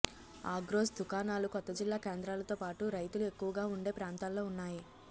ఆగ్రోస్ దుఖానాలు కొత్త జిల్లా కేంద్రాలతో పాటు రైతులు ఎక్కువగా ఉండే ప్రాంతాల్లో ఉన్నాయి